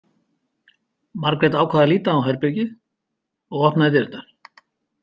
Margrét ákvað að líta á herbergið og opnaði dyrnar.